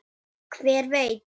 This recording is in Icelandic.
Ég man þetta óljóst.